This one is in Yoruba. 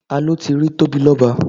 Ta ló ti rí Tóbilọ́ba?